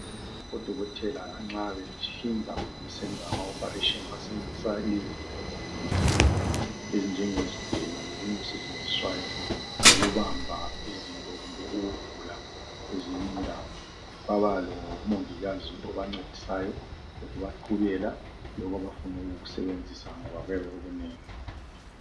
Odokotela nxa behlinza kumbe nxa besenza ama-operation. Basebenzisa izinto ezinengi kakhulu! Ezinjengezigelo lokunye okusetshenziswayo. Ukubamba izinto kumbe ukuvula kwezinye indawo. Baba lomongikazi obancedisayo. Lokubaqhubela lokho abafuna ukukusebenzisa ngoba kuyabe kukunengi.